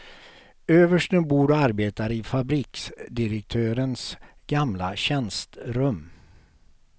Översten bor och arbetar i fabriksdirektörens gamla tjänstrum.